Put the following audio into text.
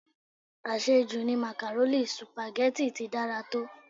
Àṣẹ jù ni màkàrónì, Sùpàgẹ́tì ti dára tó.